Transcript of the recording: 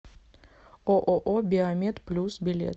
ооо биомед плюс билет